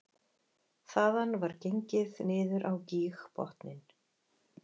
Þaðan var gengið niður á gígbotninn